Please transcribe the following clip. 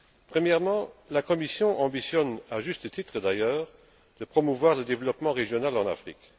Premièrement, la Commission ambitionne, à juste titre d'ailleurs, de promouvoir le développement régional en Afrique.